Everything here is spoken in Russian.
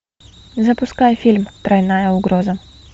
запускай фильм тройная угроза